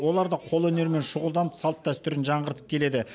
олар да қолөнермен шұғылданып салт дәстүрін жаңғыртып келеді